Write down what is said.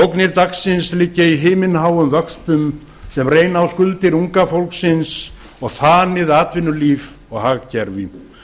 ógnir dagsins liggja í himinháum vöxtum sem reyna á skuldir unga fólksins og þanið atvinnulíf og hagkerfi